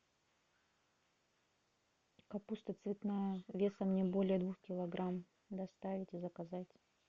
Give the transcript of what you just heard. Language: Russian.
капуста цветная весом не более двух килограмм доставить и заказать